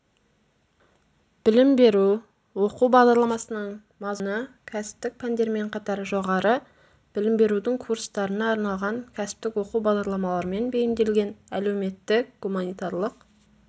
білім беру оқу бағдарламасының мазмұны кәсіптік пәндермен қатар жоғары білім берудің курстарына арналған кәсіптік оқу бағдарламаларымен бейімделген әлеуметтік-гуманитарлық